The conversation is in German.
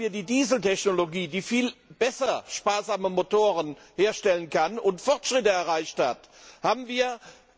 Damit haben wir die Dieseltechnologie, die viel besser sparsame Motoren herstellen kann und Fortschritte erreicht hat,